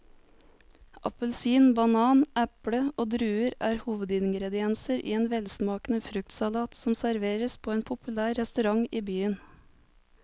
Appelsin, banan, eple og druer er hovedingredienser i en velsmakende fruktsalat som serveres på en populær restaurant i byen.